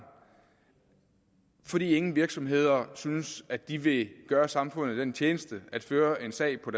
fordi ingen virksomheder synes at de vil gøre samfundet den tjeneste at føre en sag på